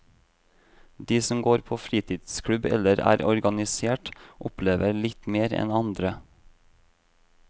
De som går på fritidsklubb eller er organisert, opplever litt mer enn andre.